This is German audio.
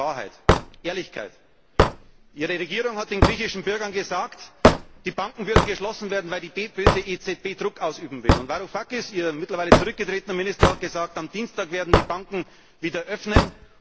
Zur Würde gehört Wahrheit, Ehrlichkeit. Ihre Regierung hat den griechischen Bürgern gesagt, die Banken würden geschlossen werden, weil die böse EZB Druck ausüben will, und Varoufakis, Ihr mittlerweile zurückgetretener Minister, hat gesagt Am Dienstag werden die Banken wieder öffnen.